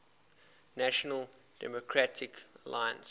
national democratic alliance